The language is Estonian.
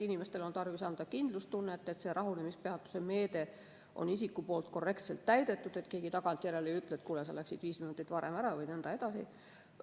Inimestele on tarvis anda kindlustunnet, et rahunemispeatuse meede on isikul korrektselt täidetud ja keegi tagantjärele ei ütle, et kuule, sa läksid viis minutit varem ära vms.